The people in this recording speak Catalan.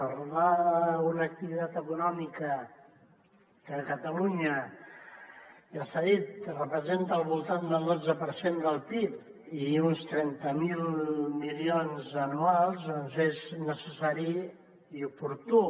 parlar d’una activitat econòmica que a catalunya ja s’ha dit representa al voltant del dotze per cent del pib i uns trenta miler milions anuals és necessari i oportú